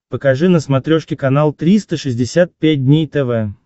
покажи на смотрешке канал триста шестьдесят пять дней тв